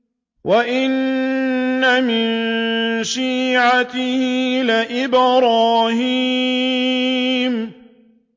۞ وَإِنَّ مِن شِيعَتِهِ لَإِبْرَاهِيمَ